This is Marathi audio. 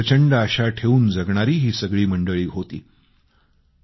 मनात प्रचंड आशा ठेवून जगणारी ही सगळी मंडळी होती